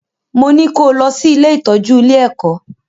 Mo ní kó o lọ sí ilé-ìtọ́jú ile-ẹ̀kọ́!